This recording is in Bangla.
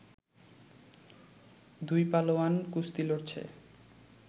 দুই পালোয়ান কুস্তি লড়ছে